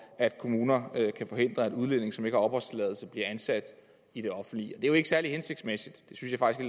at kommuner kan forhindre at udlændinge som ikke har opholdstilladelse bliver ansat i det offentlige det er jo ikke særlig hensigtsmæssigt